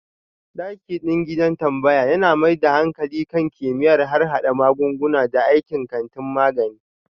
Dakiɗin gidan tambaya yana mai da hankali kan kimiyyar harhada magunguna da aikin kantin magani.